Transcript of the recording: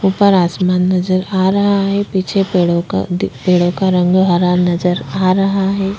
ऊपर आसमान नज़र आ रहा है पीछे पेड़ों का अधिक पेड़ों का रंग हरा नज़र आ रहा हैं ।